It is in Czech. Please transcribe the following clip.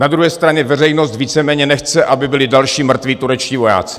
Na druhé straně veřejnost víceméně nechce, aby byli další mrtví turečtí vojáci.